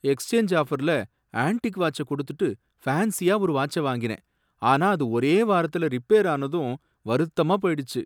Exchange ஆஃபர்ல antique வாட்ச்ச கொடுத்துட்டு ஃபேன்சியா ஒரு வாட்ச வாங்கினேன், ஆனா அது ஒரே வாரத்துல ரிப்பேரானதும் வருத்தமா போயிடுச்சு.